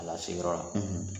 A lase yɔrɔ la.